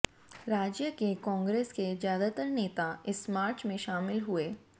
राज्य के कांग्रेस के ज्यादातर नेता इस मार्च में शामिल हुए